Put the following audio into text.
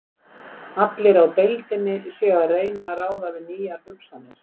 Allir á deildinni séu að reyna að ráða við nýjar hugsanir.